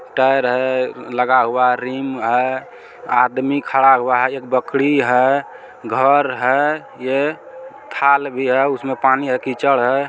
Tyre है लगा हुआ रिम है आदमी खड़ा हुआ है एक बकरी है घर है ये थाल भी है उसमें पानी है कीचड़ है।